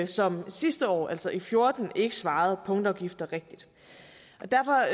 som sidste år altså i fjorten ikke svarede punktafgifter rigtigt derfor